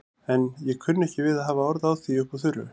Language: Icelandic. En ég kunni ekki við að hafa orð á því upp úr þurru.